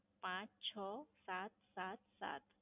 પાંચ છો સાત સાત સાત.